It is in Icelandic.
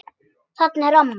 Þarna er amma!